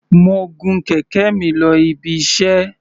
Mo gun kẹ̀kẹ́ mi lọ ibiṣẹ́.